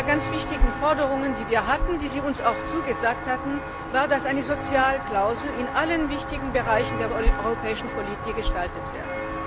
Denn eine der ganz wichtigen Forderungen, die wir hatten, die Sie uns auch zugesagt hatten, war, dass eine Sozialklausel in allen wichtigen Bereichen der europäischen Politik gestaltet wird.